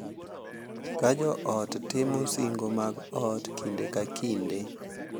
Ka jo ot timo singo mag ot kinde ka kinde,